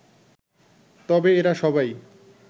তবে এরা সবাই